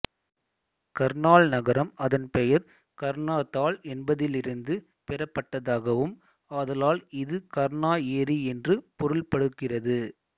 கர்ணால் நகரம் அதன் பெயர் கர்ணா தால் என்பதிலிருந்து பெறப்பட்டதாகவும் ஆதலால் இது கர்ணா ஏரி என்று பொருள்படுகிறது